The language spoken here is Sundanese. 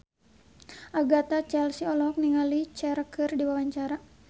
Agatha Chelsea olohok ningali Cher keur diwawancara